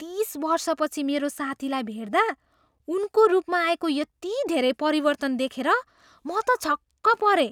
तिस वर्षपछि मेरो साथीलाई भेट्दा उनको रूपमा आएको यति धेरै परिवर्तन देखेर म त छक्क परेँ।